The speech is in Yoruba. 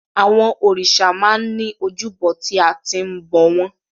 Àwọn òrìṣà máa ń ní ojúbọ tí a ti ń bọ̀ wọ́n.